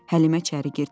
Həlimə içəri girdi.